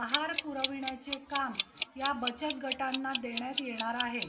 आहार पुरविण्याचे काम या बचत गटांना देण्यात येणार आहे